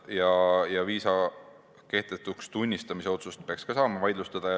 Ja viisa kehtetuks tunnistamise otsust peaks samuti saama vaidlustada.